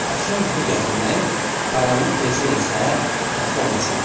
Axşam yuxu gətirmək, qaranlıq gecə isə yatmaq üçündür.